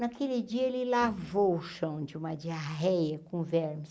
Naquele dia ele lavou o chão de uma diarreia com vermes.